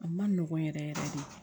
A ma nɔgɔn yɛrɛ yɛrɛ de